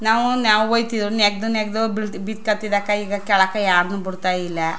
ನಾವು ನಾವು ಹೋಯ್ ತಿವು ನೆಗದು ನೆಗದು ಬಿದ್ದ್ ಕೊತ್ತಿದ್ ಅಕ್ಕ್ ಈಗ ಕೇಳಕ್ ಯಾರನ್ನು ಬಿಡತ್ತಾ ಇಲ್ಲಾ.